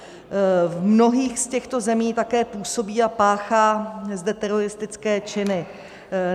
V mnohých z těchto zemí také působí a páchá zde teroristické činy.